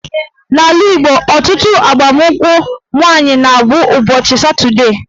N'ala Igbo, ọtụtụ ịgbankwụ nwaanyị na-abụ ụbọchị Satọdee